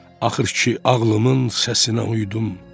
Axır ki ağlımın səsinə uydum.